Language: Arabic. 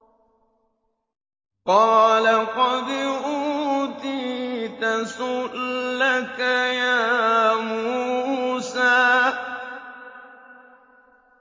قَالَ قَدْ أُوتِيتَ سُؤْلَكَ يَا مُوسَىٰ